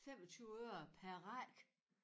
25 øre per række